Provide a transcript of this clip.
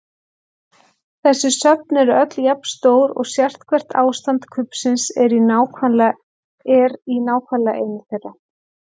Þessi söfn eru öll jafn stór og sérhvert ástand kubbsins er í nákvæmlega einu þeirra.